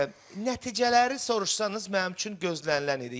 Nəticələri soruşsanız mənim üçün gözlənilən idi.